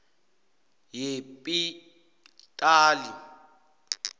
yepitali